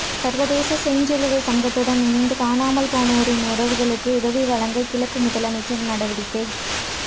சர்வதேச செஞ்சிலுவைச் சங்கத்துடன் இணைந்து காணாமல் போனோரின் உறவுகளுக்கு உதவி வழங்க கிழக்கு முதலமைச்சர் நடவடிக்கை